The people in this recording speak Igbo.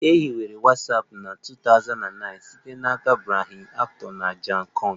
E hiwere Watsapụ na 2009 site n'aka Brian Acton na Jan koum